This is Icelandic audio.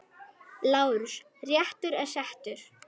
LÁRUS: Réttur er settur!